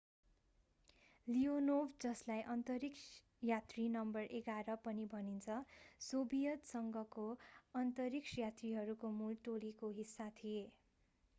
Leonov जसलाई अन्तरिक्ष यात्री नम्बर 11 पनि भनिन्छ सोभियत संघको अन्तरिक्ष यात्रीहरूको मूल टोलीको हिस्सा थिए।